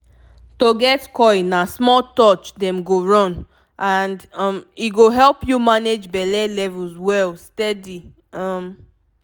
to get coil na small touch dem go run — and um e go help you manage belle levels well steady. um